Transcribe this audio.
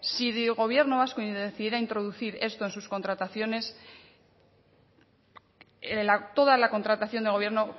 si el gobierno vasco decidiera introducir esto en sus contrataciones toda la contratación de gobierno